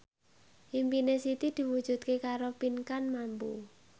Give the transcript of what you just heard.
impine Siti diwujudke karo Pinkan Mambo